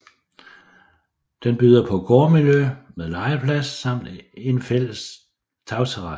Den byder på gårdmiljø med legeplads samt en fælles tagterrasse